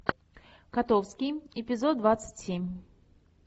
котовский эпизод двадцать семь